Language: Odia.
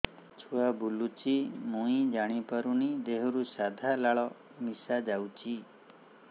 ଛୁଆ ବୁଲୁଚି ମୁଇ ଜାଣିପାରୁନି ଦେହରୁ ସାଧା ଲାଳ ମିଶା ଯାଉଚି